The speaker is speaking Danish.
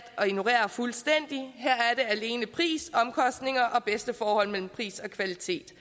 at ignorere fuldstændig her alene pris omkostninger og bedste forhold mellem pris og kvalitet